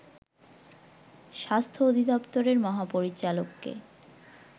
স্বাস্থ্য অধিদপ্তরের মহাপরিচালককে